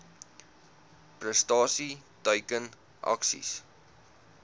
prestasie teiken aksies